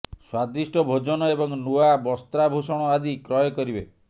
ସ୍ବାଦିଷ୍ଟ ଭୋଜନ ଏବଂ ନୂଆ ବସ୍ତ୍ରାଭୂଷଣ ଆଦି କ୍ରୟ କରିବେ